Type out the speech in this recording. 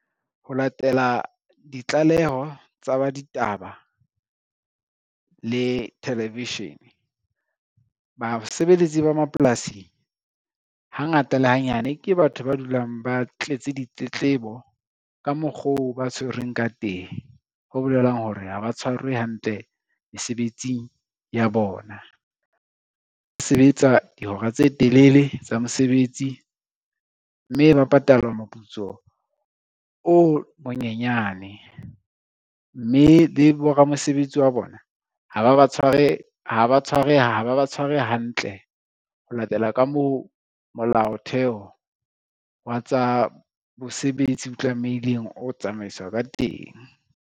Ho latela ditlaleho tsa ba ditaba le television, basebeletsi ba mapolasi hangata le hanyane ke batho ba dulang ba tletse ditletlebo ka mokgoo ba tshwerweng ka teng, ho bolelang hore ha ba tshwarwe hantle mesebetsing ya bona. Ba sebetsa dihora tse telele tsa mosebetsi, mme ba patalwa moputso o monyenyane mme le bo ramosebetsi wa bona ha ba ba tshware hantle, ho latela ka moo molaotheo wa tsa bosebetsi o tlamehileng ho tsamaiswa ka teng.